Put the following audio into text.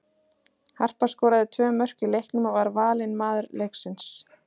Harpa skoraði tvö mörk í leiknum og var valin maður leiksins.